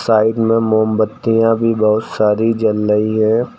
Side में मोमबत्तियां भी बहोत सारी जल रही है।